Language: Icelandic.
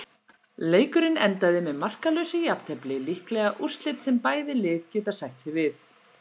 Leikurinn endaði með markalausu jafntefli, líklega úrslit sem bæði lið geta sætt sig við.